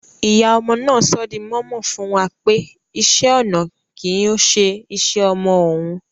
Ìyá ọmọ náà sọ̀ dí mòmò fún wa pé ìṣẹ̀-ọnà kí ọ̀ṣè ìṣẹ̀-ọmọ ọun